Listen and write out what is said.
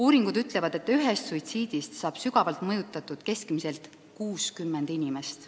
Uuringud ütlevad, et üks suitsiid mõjutab sügavalt keskmiselt 60 inimest.